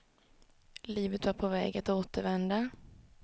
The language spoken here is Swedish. Livet var på väg att återvända.